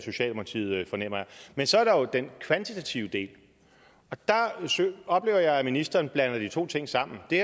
men så er der jo den kvantitative del og der oplever jeg at ministeren blander de to ting sammen det